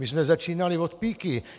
My jsme začínali od píky.